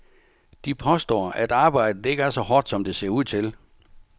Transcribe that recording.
De påstår, at arbejdet ikke er så hårdt, som det ser ud til.